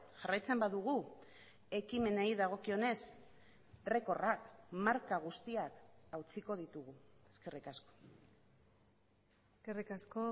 jarraitzen badugu ekimenei dagokionez errekorrak marka guztiak hautsiko ditugu eskerrik asko eskerrik asko